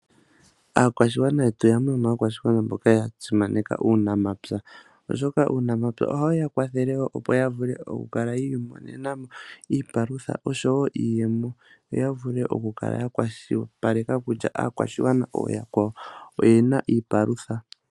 Aakwashigwana yetu yamwe yomaakwashigwana mboka yasimaneka uunamapya, oshoka uunamapya ohawuya kwathele woo opo yavule okukala yiimonena mo iipalutha oshowo iiyemo. Yoya vule okukala yakwashilipaleka kutya aakwashigwana ooyakwawo oyena iipalutha.